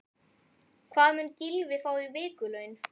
Hvað mun Gylfi fá í vikulaun?